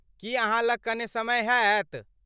की अहाँ लग कने समय हैत?